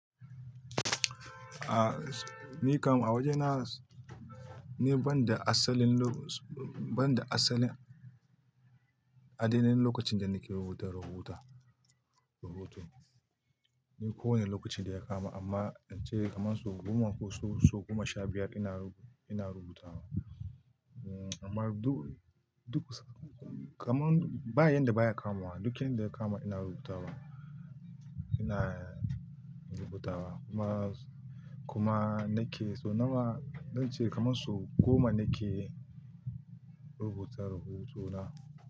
A, ni kam a waje na, ni banda asalin lokacin, banda asalin ainihin lokacin da nake rubuta rahoto, ni ko wani lokaci da ya kama amma inche kamar sau goma ko sau goma sha biyar ina rubuta wa. Amma duk, kamar bayan da baya kamawa, duk yanda ya kama ina rubuta wa, ina rubuta wa kuma, kuma nake so nawa zanche kamar sau goma nake rubuta ruhotona.